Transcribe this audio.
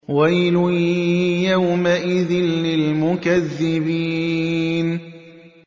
وَيْلٌ يَوْمَئِذٍ لِّلْمُكَذِّبِينَ